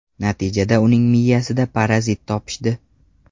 Natijada uning miyasida parazit topishdi.